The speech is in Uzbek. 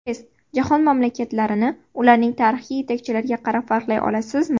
Test: Jahon mamlakatlarini ularning tarixiy yetakchilariga qarab farqlay olasizmi?.